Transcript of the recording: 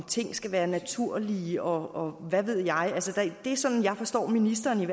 ting skal være naturlige og hvad ved jeg altså det sådan jeg forstår ministeren